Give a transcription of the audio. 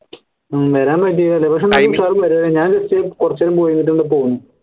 ഹും വരാൻ മടിയാല്ലേ പക്ഷേ ഞാൻ ഇച്ചിരി കുറച്ച് time പോയിട്ട് ഇങ്ങട്ട് പോന്നു